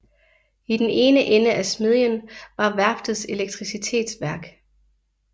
I den ene ende af smedjen var værftets elektricitetsværk